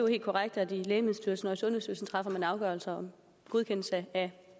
helt korrekt at i lægemiddelstyrelsen og sundhedsstyrelsen træffer man afgørelser om godkendelse af